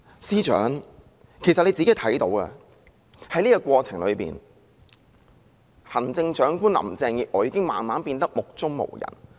司長也看到，在過程中，行政長官林鄭月娥已經慢慢變得目中無人。